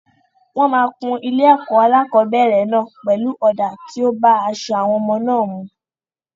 Wọ́n máa kún ilé-ẹ̀kọ́ alákọ̀ọ́bẹ̀rẹ̀ náà pelu ọ̀dà tí ó bá aṣọ àwọn ọmọ náà mu.